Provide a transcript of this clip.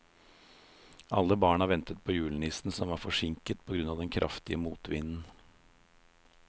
Alle barna ventet på julenissen, som var forsinket på grunn av den kraftige motvinden.